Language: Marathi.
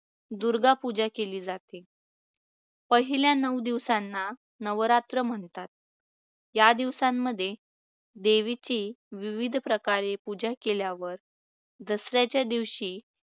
दुर्गा पुजा केली जाते. पहिल्या नऊ दिवसांना नवरात्र म्हणतात. या दिवसांमध्ये देवीची विविध प्रकारे पूजा केल्यावर दसऱ्याच्या दिवशी